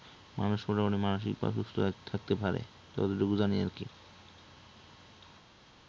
মানুষ মোটামুটি মানুসিকভাবে সুস্থ থাকতে পারে যতটুকু জানি আর কি